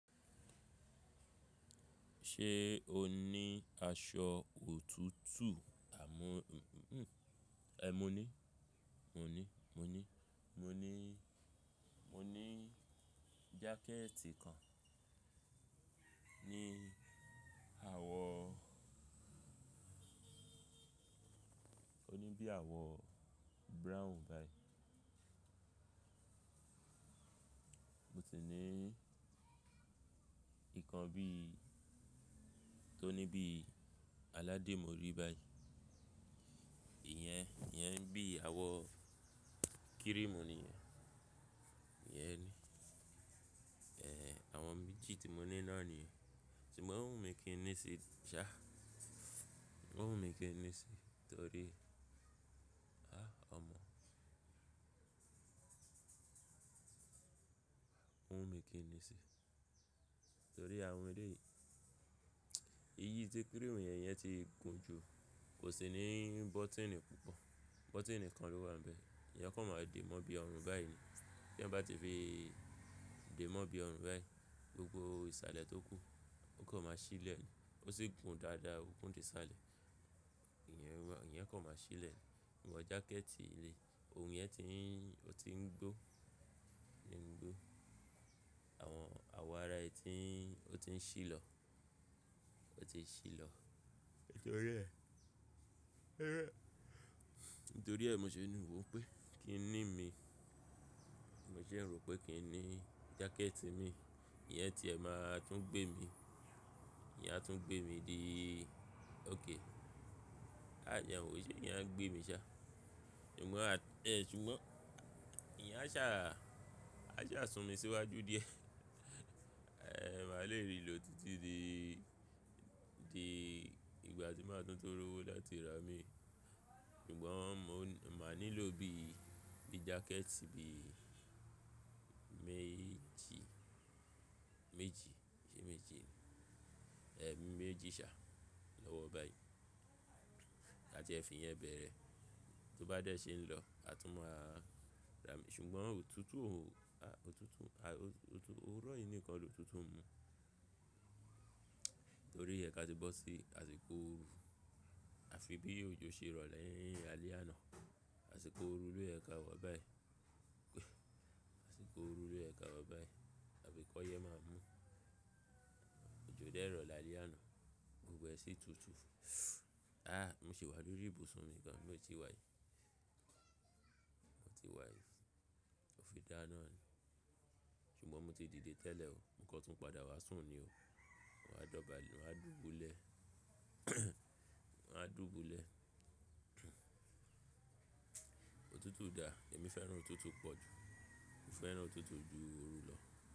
Ṣe o ni aṣọ òtútù? Àmó, ẹh, mo ní, mo ní, mo ní, mo ni, mo ní jákẹ̀tì kan ní àwọ̀, o ní bí àwọ̀ brown báyìí. Mo ti ní ìkan bí, tó ní bí aládé mo rí báyìí. Iyẹn, iyẹn bí àwọ̀ cream ni iyẹn. Iyẹn ni. Eh, àwọn méjì tí mo ní náà nìyẹn. Ṣùgbọ́n ó wùn mí kí n ní i si ṣá, ó wùn mí kí n ní i si torí, ah ọmọ! Ó wùn mí kí n ní i si torí àwọn eleyìí, eyí tí cream yẹn, iyẹn ti gùn jù. Kò sì ní bọ́tíìnì púpọ̀. Bọ́tíìnì kan ló wà níbẹ̀. Èèyàn kọ́ máa dè mó bí ọrùn báyìí ni. Bí èèyàn bá tí fi dè mó bí ọrùn báyìí, gbogbo ìsàlẹ̀ tó kù ó kọ́ máa sílẹ̀. Ó sì gùn dáadáa, ògun dè ìsàlẹ̀. Iyẹn wà, èèyàn kọ́ máa sílẹ̀. Ṣugbọn jákẹ̀tì eleyii, ohun yẹn ti ń, ó ti ń gbó, ó ti ń gbó. Àwọn àwọ̀ ara ẹ tí ń, ó ti ń ṣí lọ, ó ti ń ṣí lọ. Nítorí ẹ, nítorí ẹ mo ṣe níwò pé kí n ní mi. Mo ṣe ń rò pé kí n ní jákẹ̀tì mi. Iyẹn tí ẹ máa tún gbé mi, iyẹn a tún gbé mi dì òkè. A jẹ wò ṣe, iyẹn a gbé mi ṣá. Ṣùgbọ́n a tẹ́ ẹ ṣùgbọ́n, iyẹn a sá, a ṣa sùn mi síwájú díẹ̀. Eh, màá le rì lọ títí di, di ìgbà tí màá tún tó rówó láti ra mí. Ṣùgbọ́n mo máa nílò bí, bí jákẹ̀tì bí méjì, méjì, ṣe méjì ni? Eh, méjì ṣá lọ́wọ́ báyìí. Káti ẹ fi iyẹn bẹ̀rẹ̀, tó bá dẹ̀ ṣe ń lọ, a tún máa ra. Ṣùgbọ́n òtútù òhù, òtútù, ah, òtútù, òrùn yìí nìkan lòtútù ń mu. Nítorí ẹ ká ti bọ́ sí àsìkò oru, a fi bí òjò ṣe rọ̀ lẹ́yìn alẹ́ àná. Àsìkò òru lóyẹ ka wa báyìí. Àsìkò òru lóyẹ ka wa báyìí. Àbi ki oyẹ máa mú. Òjò dẹ́rọ̀ lálẹ́ àná. Gbogbo ẹ́ sí tùtù. Ah, mo sì wá lórí ìbùsùn mi gan ló ti wáyì. Mo ti wáyì. Ó fi dá ná ni. Ṣùgbọ́n mo ti dìde tẹ́lẹ̀ o. Mo kán tu ń padà wá sùn ni o. Mo wáa dọ̀bálẹ̀, mo wáa dùbúlẹ̀. Mo máa dùbúlẹ̀. Òtútù dà, èmi fẹ́ràn òtútù pọ̀ ju. Mo fẹ́ràn òtútù ju òru lọ.